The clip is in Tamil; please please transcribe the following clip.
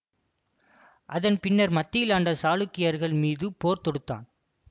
அதன் பின்னர் மத்தியில் ஆண்ட சாளுக்கியர்கள் மீது போர் தொடுத்தான்